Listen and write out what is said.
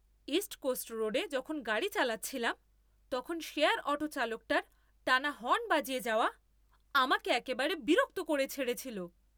East Coast রোডে যখন গাড়ি চালাচ্ছিলাম তখন শেয়ার অটো চালকটার টানা হর্ন বাজিয়ে যাওয়া আমাকে একেবারে বিরক্ত করে ছেড়েছিল!